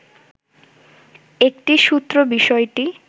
একটি সূত্র বিষয়টি